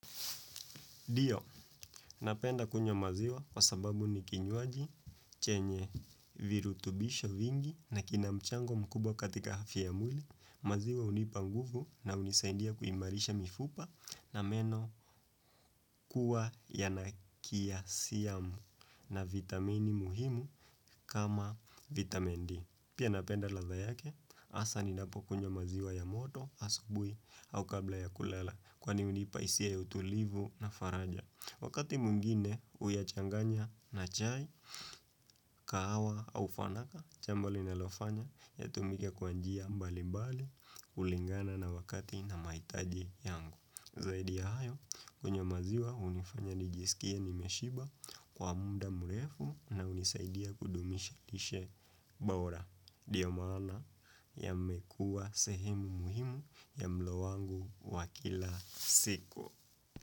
Ndio, napenda kunywa maziwa kwa sababu ni kinyuaji, chenye virutubisho vingi na kinamchango mkubwa katika hafya ya mwili, maziwa unipa nguvu na unisaindia kuimarisha mifupa na meno kuwa yana kalisiyamu na vitamini muhimu kama vitamin D. Pia napenda ladha yake, hasa ni napo kunywa maziwa ya moto, asubuhi au kabla ya kulala kwani unipa hisia ya utulivu na faraja. Wakati mwingine huya changanya na chai, kahawa, au fanaka, jambo linalofanya, ya tumike kwa njia mbali mbali, kulingana na wakati na mahitaji yangu. Zaidi ya hayo, kunywa maziwa unifanya nijisikia nimeshiba kwa muda mrefu na unisaidia kudumisha lishe bora. Ndiyo maana yamekua sehemu muhimu ya mlo wangu wa kila siko.